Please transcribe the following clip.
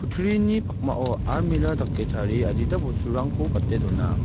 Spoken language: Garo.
pakmao almira dake tarie adita bosturangko gate dona.